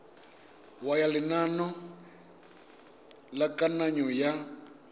ya lenane la kananyo ya